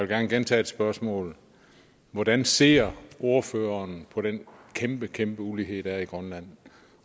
gerne gentage et spørgsmål hvordan ser ordføreren på den kæmpe kæmpe ulighed der er i grønland